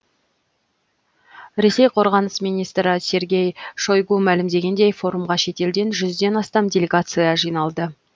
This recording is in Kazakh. ресей қорғаныс министрі сергей шойгу мәлімдегендей форумға шетелден жүзден астам делегация жиналды